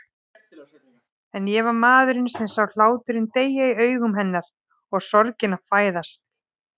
En ég var maðurinn sem sá hláturinn deyja í augum hennar og sorgina fæðast.